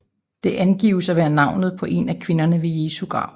Det angives at være navnet på en af kvinderne ved Jesu grav